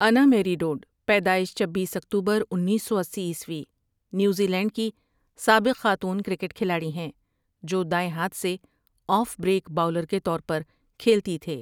انا Mary Dodd پیدائش چبیس اکتوبر انیس سو اسی عیسوی نیوزی لینڈ کی سابق خاتون کرکٹ کھلاڑی ہیں جو دائیں ہاتھ سے آف بریک باؤلر کے طور پر کھیلتی تھے۔